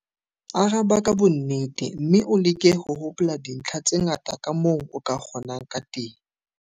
Araba ka bonnete mme o leke ho hopola dintlha tse ngata kamoo o ka kgonang ka teng.